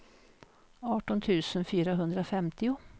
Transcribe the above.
arton tusen fyrahundrafemtio